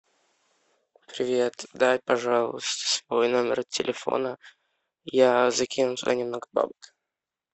привет дай пожалуйста свой номер телефона я закину туда немного бабок